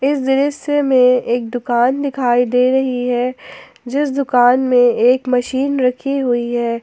इस दृश्य में एक दुकान दिखाई दे रही है जिस दुकान में एक मशीन रखी हुई है।